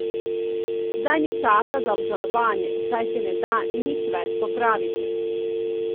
Zdaj ni časa za obžalovanje, saj se ne da nič več popraviti.